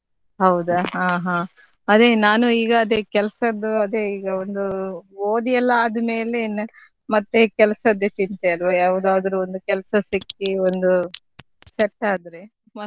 ಹೌದಾ ಹಾ ಹಾ ಅದೇ ನಾನು ಈಗ ಅದೇ ಕೆಲ್ಸದ್ದು ಅದೇ ಈಗ ಒಂದು ಓದಿ ಎಲ್ಲ ಆದ್ಮೇಲೆ ಇನ್ನು ಮತ್ತೆ ಕೆಲ್ಸದ್ದೇ ಚಿಂತೆ ಅಲ್ವಾ ಯಾವ್ದಾದ್ರು ಒಂದು ಕೆಲಸ ಸಿಕ್ಕಿ ಒಂದು set ಆದ್ರೆ ಮತ್ತೆ?